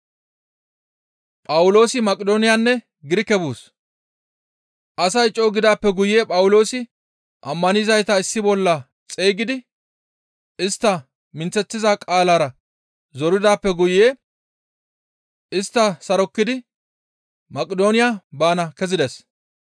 Asay co7u gidaappe guye Phawuloosi ammanizayta issi bolla xeygidi istta minththeththiza qaalara zoridaappe guye istta sarokkidi Maqidooniya baana kezides.